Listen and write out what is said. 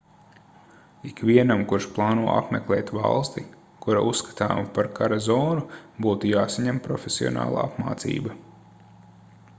ikvienam kurš plāno apmeklēt valsti kura uzskatāma par kara zonu būtu jāsaņem profesionāla apmācība